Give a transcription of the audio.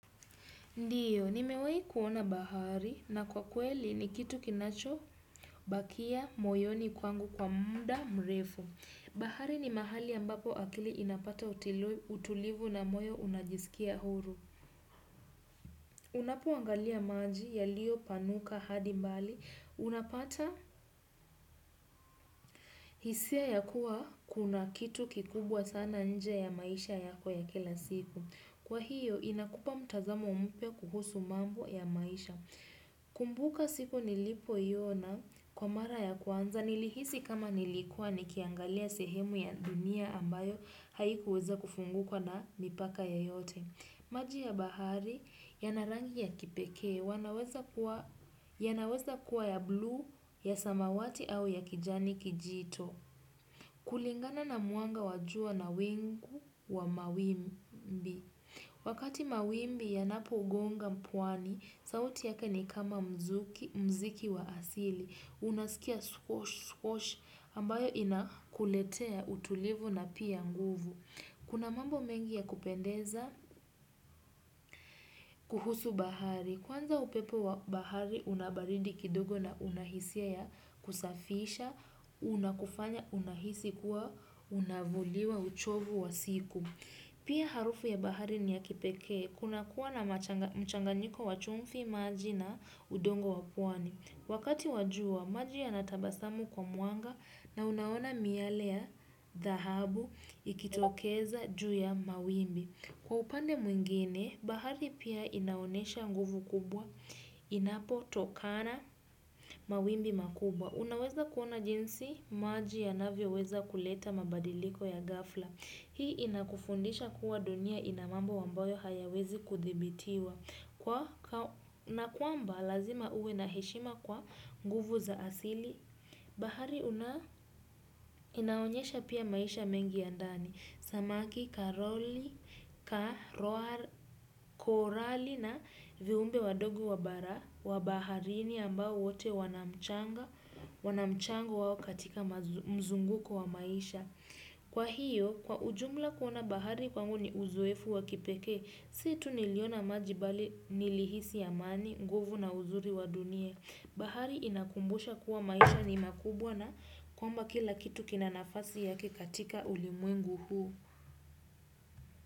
Ndio, nimewahi kuona bahari na kwa kweli ni kitu kinacho bakia moyoni kwangu kwa muda mrefu. Bahari ni mahali ambapo akili inapata utulivu na moyo unajisikia huru. Unapoangalia maji yalio panuka hadi mbali, unapata, hisia ya kuwa kuna kitu kikubwa sana nje ya maisha yako ya kila siku. Kwa hiyo, inakupa mtazamo mpya kuhusu mambo ya maisha. Kumbuka siku nilipoiona, kwa mara ya kwanza nilihisi kama nilikua nikiangalia sehemu ya dunia ambayo, haikuweza kufunguka na mipaka ye yote. Maji ya bahari, yana rangi ya kipekee. Yanaweza kuwa ya blue, ya samawati au ya kijani kijito. Kulingana na mwanga wa jua na wingu, wa mawimbi wakati mawimbi yanapo gonga mpwani, sauti yake ni kama mziki wa asili. Unaskia squash ambayo inakuletea, utulivu na pia nguvu. Kuna mambo mengi ya kupendeza, kuhusu bahari. Kwanza upepo wa bahari unabaridi kidogo na unahisia ya kusafisha, unakufanya unahisi kuwa unavuliwa uchovu wa siku. Pia harufu ya bahari ni ya kipekee, kuna kuwa na mchanganyiko wachumfi maji na udongo wapwani. Wakati wajua, maji ya natabasamu kwa mwanga na unaona miale ya, dhahabu ikitokeza juu ya mawimbi. Kwa upande mwingine, bahari pia inaonesha nguvu kubwa, inapo tokana mawimbi makubwa. Unaweza kuona jinsi, maji yanavyo weza kuleta mabadiliko ya ghafla. Hii inakufundisha kuwa, dunia ina mambo ambayo hayawezi kuthibitiwa. Kwa na kuamba lazima uwe naheshima kwa nguvu za asili. Bahari inaonyesha pia, maisha mengi ya ndani. Samaki, karoli, karoar, korali na viumbe wadogo wabara wa baharini ambao wote wanamchango wao katika mzunguko wa maisha. Kwa hiyo, kwa ujumla kuona bahari kwangu ni uzoefu waki pekee. Situ niliona maji bali nilihisi amani, nguvu na uzuri wa dunia. Bahari inakumbusha kuwa maisha ni makubwa na, kwamba kila kitu kinanafasi yake katika ulimwengu huu.